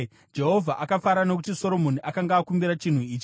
Jehovha akafara nokuti Soromoni akanga akumbira chinhu ichi.